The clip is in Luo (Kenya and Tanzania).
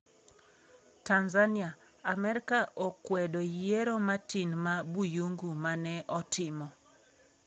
Tanzania: Amerka okwedo Yiero Matin ma Buyungu mane otimo